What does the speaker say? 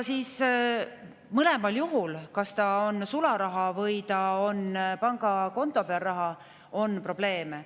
Mõlemal juhul, nii sularaha kui ka pangakonto puhul, on probleeme.